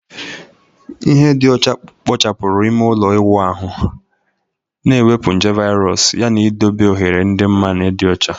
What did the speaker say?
Ihe dị ọcha kpochapụrụ ime ụlọ ịwụ ahụ, na-ewepụ nje virus yana idobe oghere dị mma na ịdị ọcha